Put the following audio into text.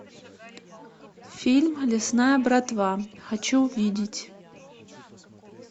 фильм лесная братва хочу увидеть